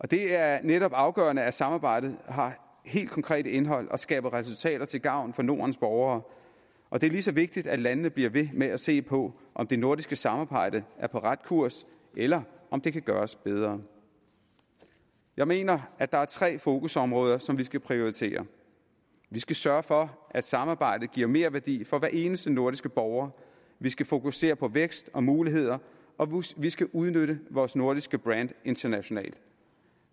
det er netop afgørende at samarbejdet har helt konkret indhold og skaber resultater til gavn for nordens borgere og det er lige så vigtigt at landene bliver ved med at se på om det nordiske samarbejde er på ret kurs eller om det kan gøres bedre jeg mener at der er tre fokusområder som vi skal prioritere vi skal sørge for at samarbejdet giver merværdi for hver eneste nordiske borger vi skal fokusere på vækst og muligheder og vi skal udnytte vores nordiske brand internationalt